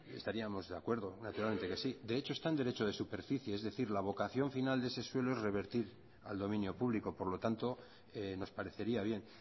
estaríamos de acuerdo naturalmente que sí de hecho está en derecho de superficie es decir la vocación final de ese suelo es revertir al dominio público por lo tanto nos parecería bien